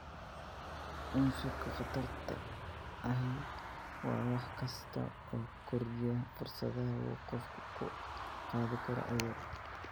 Cunsurka khatarta ahi waa wax kasta oo kordhiya fursadaha uu qofku ku qaadi karo cudur.